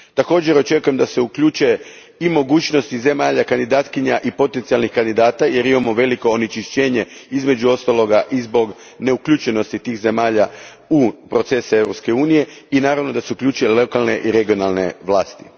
Također, očekujem da se uključe i mogućnosti zemalja kandidatkinja i potencijalnih kandidata jer imamo veliko onečišćenje, između ostaloga, i zbog neuključenosti tih zemalja u procese Europske unije i, naravno, da se uključe lokalne i regionalne vlasti.